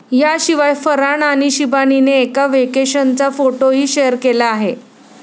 याशिवाय फरहान आणि शिबानीने एका व्हेकेशनचा फोटोही शेअर केला आहे.